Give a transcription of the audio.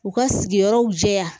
U ka sigiyɔrɔw jɛya